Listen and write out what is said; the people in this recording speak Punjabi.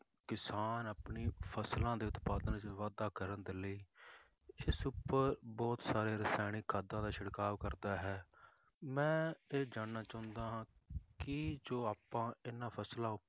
ਕਿਸਾਨ ਆਪਣੀ ਫਸਲਾਂ ਦੇ ਉਤਪਾਦਨ ਵਿੱਚ ਵਾਧਾ ਕਰਨ ਦੇ ਲਈ ਇਸ ਉੱਪਰ ਬਹੁਤ ਸਾਰੇ ਰਸਾਇਣਿਕ ਖਾਦਾਂ ਦਾ ਛਿੜਕਾਅ ਕਰਦਾ ਹੈ, ਮੈਂ ਇਹ ਜਾਣਨਾ ਚਾਹੁੰਦਾ ਹਾਂ ਕਿ ਜੋ ਆਪਾਂ ਇਹਨਾਂ ਫਸਲਾਂ